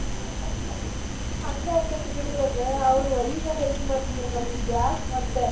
ಹಂಗ ಆಕ್ಕೇತಿ ಬಿಡ್ರಿ ಅದ್ ಅವ್ರ ಒಲಿ ಮ್ಯಾಲ ಅಡಗಿ ಮಾಡ್ತಿದ್ರ್ ನಮ್ದ್ gas ಮತ್ತೆ.